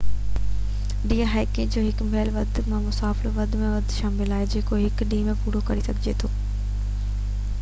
D hiking ۾ هڪ mile کان به گھٽ مفاصلو يا وڌ ۾ وڌ مفاصلو شامل آهي جيڪو هڪ ڏينهن ۾ پورو ڪري سگهجي ٿو